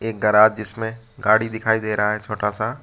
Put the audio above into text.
एक ग्राज जिसमें गाड़ी दिखाई दे रहा है छोटा सा।